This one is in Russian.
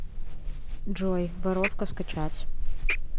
джой воровка скачать